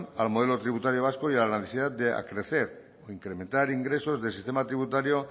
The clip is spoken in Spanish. al modelo tributario vasco y a la necesidad de acrecer o incrementar ingresos del sistema tributario